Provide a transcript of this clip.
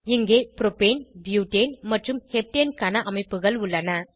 இங்கே propane butane மற்றும் heptane க்கான அமைப்புகள் உள்ளன